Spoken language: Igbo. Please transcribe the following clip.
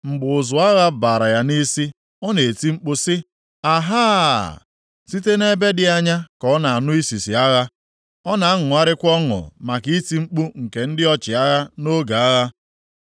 Mgbe ụzụ agha bara ya nʼisi, ọ na-eti mkpu sị, ‘Ahaa!’ Site nʼebe dị anya ka ọ na-anụ isisi agha. Ọ na-aṅụrịkwa ọṅụ maka iti mkpu nke ndị ọchịagha nʼoge agha.